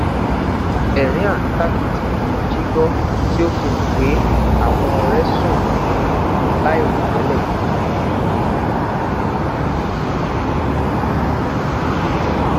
ẹrin arintakiti ni mo ji gbọ ti o fi han pe awọn ọrẹ sun mọju lairotẹlẹ